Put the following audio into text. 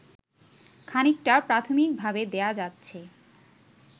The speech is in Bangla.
খানিকটা প্রাথমিকভাবে দেয়া যাচ্ছে